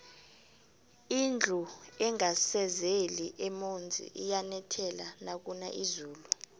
indlu engasezeli emonzi iyanethela nakuna izulu